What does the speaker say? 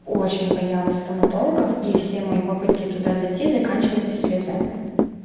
очень боялась стоматологов и все мои попытки туда зайти заканчивались слезами